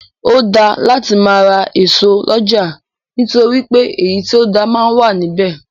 Ó dáa láti máa ra ẹso lọ́jà nítorí pé èyí tí ó dáa máa wà ní bẹ̀.